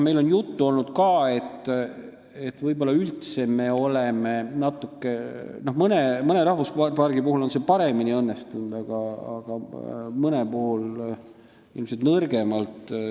Mõne rahvuspargi puhul on see paremini õnnestunud, aga mõne puhul ilmselt nõrgemalt.